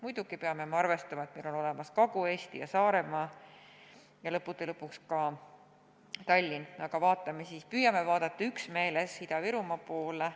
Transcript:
Muidugi peame arvestama, et meil on ka Kagu-Eesti ja Saaremaa ja lõppude lõpuks Tallinngi, aga püüame vaadata üksmeeles Ida-Virumaa poole.